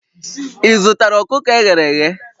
Ị zụtara ọkụkọ e ghere eghe?